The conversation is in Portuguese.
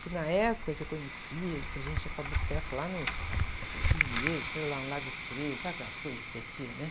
Que na época que eu conhecia, que a gente ia para boteco lá no Pinheiros, sei lá, no Lago treze, sabe aquelas coisas de pê-tê, né?